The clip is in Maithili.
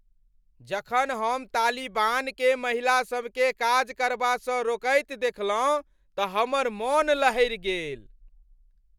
जखन हम तालिबानकेँ महिलासभकेँ काज करबासँ रोकैत देखलहुँ तऽ हमर मन लहरि गेल।